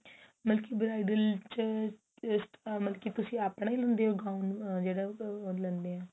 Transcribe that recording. ਮਤਲਬ ਕੀ bridal ਚ ਮਤਲਬ ਕੀ ਤੁਸੀਂ ਆਪਣਾ ਈ ਲੈਂਦੇ ਓ gown ਲੈਣੇ ਆ